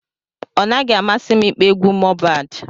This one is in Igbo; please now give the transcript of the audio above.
Ọ naghị amasi m ịkpọ egwu Mohbad.